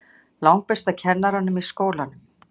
Langbesta kennaranum í skólanum.